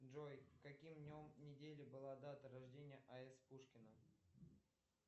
джой каким днем недели была дата рождения а с пушкина